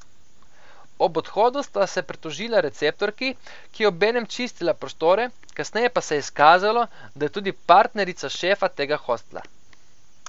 Ob odhodu sta se pritožila receptorki, ki je obenem čistila prostore, kasneje pa se je izkazalo, da je tudi partnerica šefa tega hostla.